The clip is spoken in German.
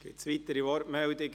Gibt es weitere Wortmeldungen?